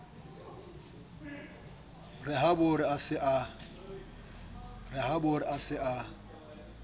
re habore a sa e